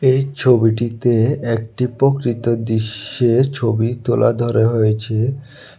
এই ছবিটিতে একটি প্রকৃত দিশ্যের ছবি তোলা ধরা হয়েছে।